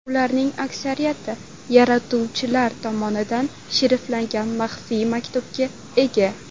Ularning aksariyati yaratuvchilar tomonidan shifrlangan maxfiy maktubga ega.